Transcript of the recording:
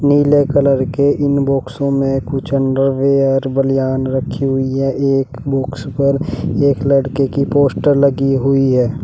पीले कलर के इन बाक्सों में कुछ अंडरवियर बनियान रखी हुई है एक बॉक्स पर एक लड़के की पोस्टर लगी हुई है।